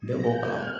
Bɛɛ bɔ kalama